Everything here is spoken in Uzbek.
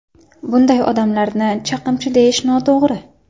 Bunday odamlarni chaqimchi deyish noto‘g‘ri.